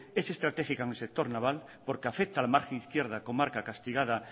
es estratégica en el sector naval porque afecta a la margen izquierda comarca castigada